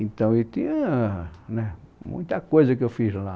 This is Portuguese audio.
Então, eu tinha né muita coisa que eu fiz lá.